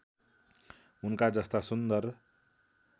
उनका जस्ता सुन्दर